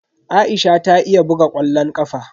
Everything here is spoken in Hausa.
Aisha ta iya buga ƙwallon ƙafa.